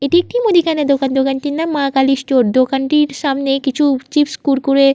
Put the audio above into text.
এটি একটি মুদিখানা দোকান। দোকানটির নাম মা কালী স্টোর্স । দোকানটির সামনে কিছু চিপস কুড়কুড়ে --